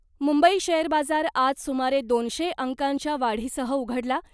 Mumbai share बाजार आज सुमारे दोनशे अंकांच्या वाढीसह उघडला ..